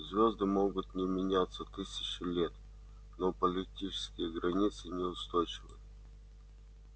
звёзды могут не меняться тысячи лет но политические границы неустойчивы